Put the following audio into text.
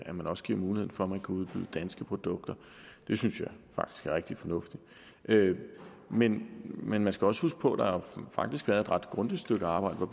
man også giver mulighed for at udbyde danske produkter det synes jeg faktisk er rigtig fornuftigt men men man skal også huske på at der faktisk er et ret grundigt stykke arbejde hvor